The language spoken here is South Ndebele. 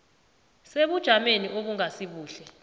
sebujameni obungasi buhle